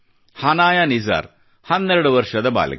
ಹನಾಯ ನಿಸಾರ್ 12 ವರ್ಷದ ಬಾಲಕಿ